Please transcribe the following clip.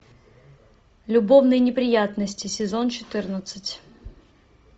любовные неприятности сезон четырнадцать